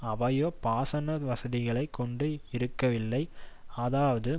அவையோ பாசன வசதிகளை கொண்டு இருக்கவில்லை அதாவது